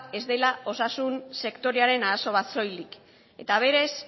ez dela osasun sektorearen arazo bat soilik eta berez